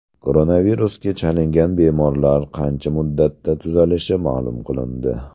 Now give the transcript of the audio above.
Koronavirusga chalingan bemorlar qancha muddatda tuzalishi ma’lum qilindi.